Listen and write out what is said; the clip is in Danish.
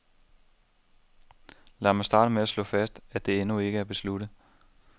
Lad mig starte med slå fast at det endnu ikke er besluttet.